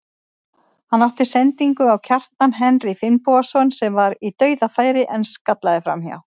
Hann átti sendingu á Kjartan Henry Finnbogason sem var í dauðafæri en skallaði framhjá.